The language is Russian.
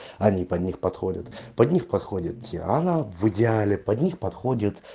они под них подходят под них подходит в идеале под них подходит